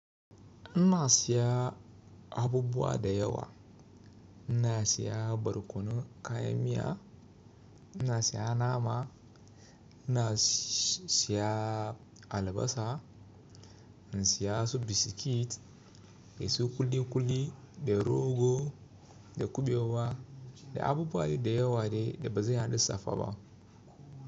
In na siya abubuwa da yawa, ina siya barkono, kayamiya, ina siya nama, ina siya albasa, in siya su biskit, dasu kuli-kuli da rogo da kubewa da abubuwa dai da yawa dai ba zan iya lissafa ba.